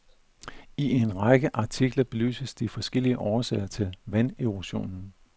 I en række artikler belyses de forskellige årsager til vanderosionen.